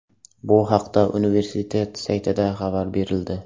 Bu haqda universitet saytida xabar berildi .